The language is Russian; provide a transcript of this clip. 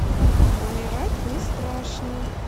умирать не страшно